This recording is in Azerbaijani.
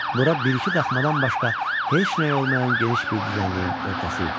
Bura bir-iki daxmadan başqa heç nəyi olmayan geniş bir düzənliyin ortası idi.